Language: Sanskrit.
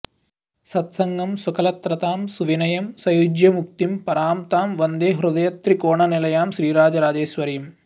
सत्सङ्गं सुकलत्रतां सुविनयं सयुज्यमुक्तिं परां तां वन्दे हृदयत्रिकोणनिलयां श्रीराजराजेश्वरीम्